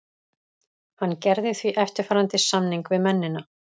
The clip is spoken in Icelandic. Hann gerði því eftirfarandi samning við mennina.